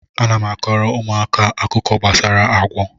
Ana m akọọrọ ụmụaka akụkọ gbasara agwọ